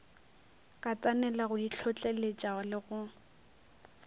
katanela go itlhotleletša le go